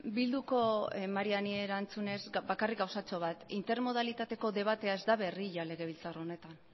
bilduko mariani erantzunez bakarrik gauzatxo bat intermodalitateko debatea ez da berria legebiltzar honetan